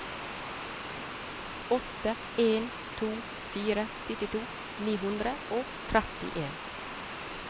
åtte en to fire syttito ni hundre og trettien